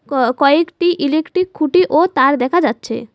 ক কয়েকটি ইলেকট্রিক খুটি ও তার দেখা যাচ্ছে।